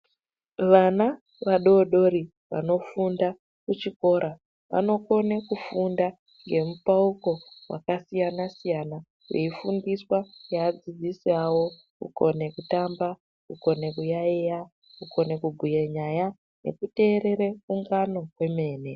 Vana vadodori vanofunda kuchikora vanokone kufunda ngemupauko wakasiyana -siyana, veifundiswa ngeadzidzisi avo kukone kutamba, kukone kuyaeya, kukone kubhuye nyaya, nekuteerere kungano kwemene.